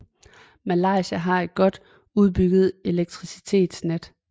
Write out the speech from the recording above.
Malaysia har et godt udbygget elektricitetsnet